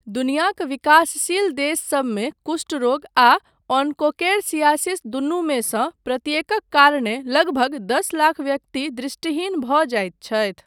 दुनियाक विकासशील देशसबमे कुष्ठ रोग आ ओन्कोकेरसियासिस दुनुमे सँ प्रत्येकक कारणे लगभग दस लाख व्यक्ति दृष्टिहीन भऽ जाइत छथि।